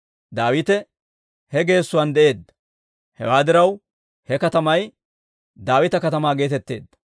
Daawite he geessuwaan de'eedda; hewaa diraw, he katamay Daawita Katamaa geetetteedda.